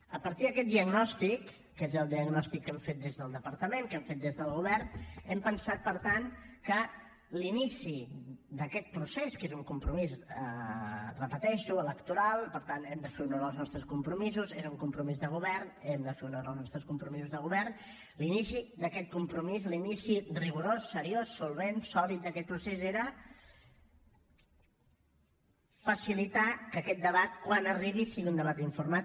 a partir d’aquest diagnòstic que és el diagnòstic que hem fet des del departament que hem fet des del govern hem pensat per tant que l’inici d’aquest procés que és un compromís ho repeteixo electoral i per tant hem de fer honor als nostres compromisos és un compromís de govern hem de fer honor als nostres compromisos de govern l’inici d’aquest compromís l’inici rigorós seriós solvent sòlid d’aquest procés era facilitar que aquest debat quan arribi sigui un debat informat